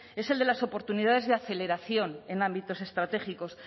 es el de las oportunidades de aceleración en ámbitos estratégicos